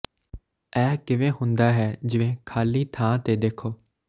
ਇਹ ਕਿਵੇਂ ਹੁੰਦਾ ਹੈ ਜਿਵੇਂ ਖਾਲੀ ਥਾਂ ਤੇ ਦੇਖੋ